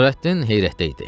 Nurəddin heyrətdə idi.